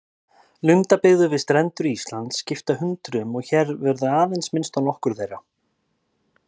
Lundabyggðir við strendur Íslands skipta hundruðum og hér verður aðeins minnst á nokkrar þeirra.